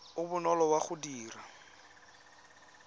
o bonolo wa go dira